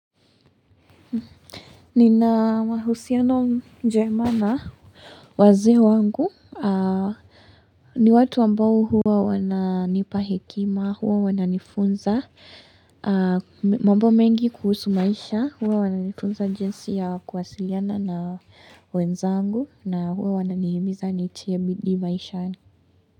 Nina mahusiano njemana wazee wangu aah ni watu ambao huwa wana nipa hikema huwa wana nifunza mambo mengi kuhusu maisha huwa wananifunza jinsi ya kuwasiliana na wenzangu na huwa wana nihimiza ni tie bidii maishani.